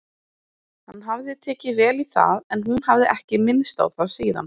Hann hafði tekið vel í það en hún hafði ekki minnst á það síðan.